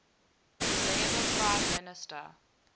labour prime minister